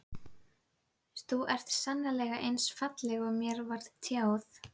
Þú ert sannarlega eins falleg og mér var tjáð.